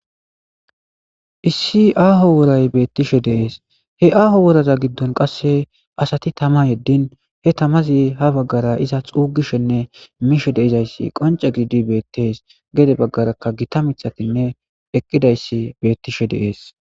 Issi aaho woray beettishe deees he aaho woraza giddon qasse asati tama yeddin he tamazi ha baggara iza xuugishenne mishe deizayssi qonce gidi beettees gede baggarakka gita mitatinne eqqidayssi beettishe deees.